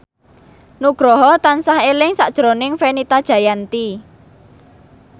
Nugroho tansah eling sakjroning Fenita Jayanti